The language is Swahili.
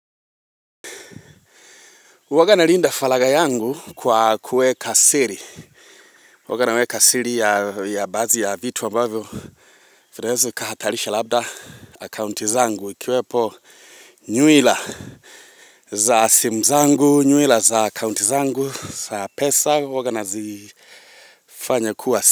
Uwaga nalinda falagha yangu kwa kuweka siri Uwagana naweka siri ya baadhi ya vitu wa mbavyo Vinezu kaha talisha labda Akounti zangu wikiwepo nywila za sim zangu nywila za akounti zangu za pesa huwaga nazifanya kuwa.